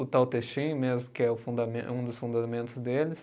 O Tao Te Ching mesmo, que é o fundamen, é um dos fundamentos deles,